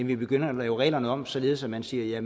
vi begynder at lave reglerne om således at man siger